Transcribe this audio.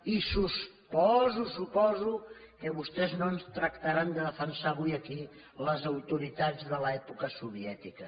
i suposo suposo que vostès no ens tractaran de defensar avui aquí les autoritats de l’època soviètica